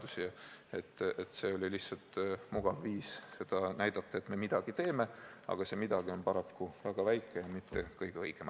See eelnõu on lihtsalt mugav viis näidata, et me midagi teeme, aga see midagi on paraku väga vähe ja mitte kõige õigem.